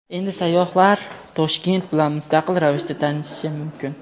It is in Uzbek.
Endi sayyohlar Toshkent bilan mustaqil ravishda tanishishi mumkin.